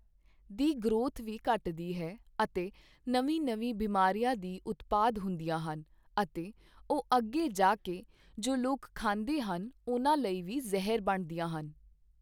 ਦੀ growth ਵੀ ਘੱਟਦੀ ਹੈ ਅਤੇ ਨਵੀਂ ਨਵੀਂ ਬਿਮਾਰੀਆਂ ਵੀ ਉਤਪਾਦ ਹੁੰਦੀਆਂ ਹਨ ਅਤੇ ਉਹ ਅੱਗੇ ਜਾ ਕੇ ਜੋ ਲੋਕ ਖਾਂਦੇ ਹਨ ਉਨ੍ਹਾਂ ਲਈ ਵੀ ਜ਼ਹਿਰ ਬਣਦੀਆਂ ਹਨ।